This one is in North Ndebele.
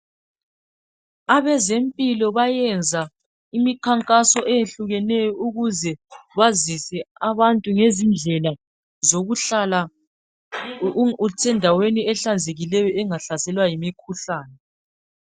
Abezempilo bayenza imikhankaso eyehlukeneyo ukuze bazise abantu ngezindlela zokuhlala u usendaweni ehlanzekileyo ukuze singahlaselwa yimikhuhlane.